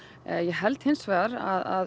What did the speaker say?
ég held hins vegar að